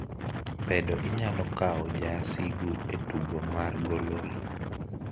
bedo inyalo kaw jaasigu e tugo mar gololi